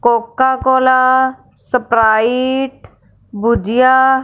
Coca cola sprite bhujia--